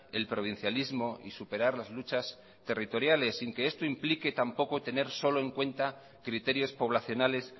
el provincialismo y superar las luchas territoriales sin que esto implique tampoco tener solo en cuenta criterios poblacionales